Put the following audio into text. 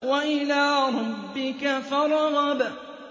وَإِلَىٰ رَبِّكَ فَارْغَب